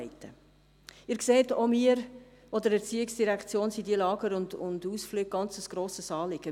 Sie sehen, auch uns von der ERZ sind diese Lager und Ausflüge ein sehr grosses Anliegen.